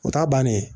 O ta bannen